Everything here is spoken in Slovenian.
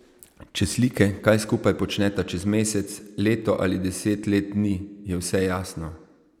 Če slike, kaj skupaj počneta čez mesec, leto ali deset let ni, je vse jasno.